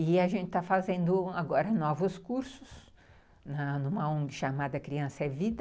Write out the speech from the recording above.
E a gente está fazendo agora novos cursos, em uma ongui chamada Criança é Vida.